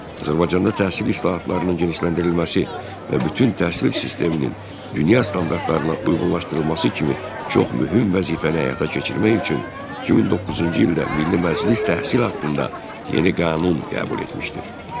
Azərbaycanda təhsil islahatlarının genişləndirilməsi və bütün təhsil sisteminin dünya standartlarına uyğunlaşdırılması kimi çox mühüm vəzifəni həyata keçirmək üçün 2009-cu ildə Milli Məclis təhsil haqqında yeni qanun qəbul etmişdir.